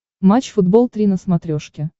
матч футбол три на смотрешке